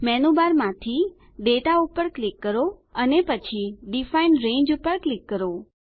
menu bar માંથી દાતા પર ક્લિક કરો અને પછી ડિફાઇન રંગે પર ક્લિક કરો